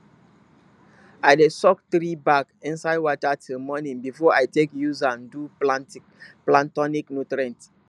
i dey soak tree bark inside water till morning before i take use am do plant tonic nutrient